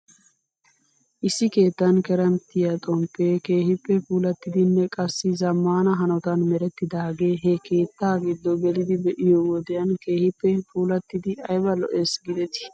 Issi keettan kerimttiyaa xomppee keehippe puulattidinne qassi zamaana hanotan merettidaagee he keettaa giddo gelidi be'iyoo wodiyan keehippe puulattidi ayba lo'es giidetii?